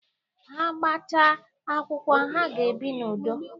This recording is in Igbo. Ha gbachaa akwụkwọ, ha ga-ebi n'udo.